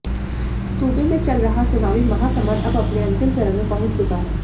सूबे में चल रहा चुनावी महासमर अब अपने अंतिम चरण में पहुंच चुका है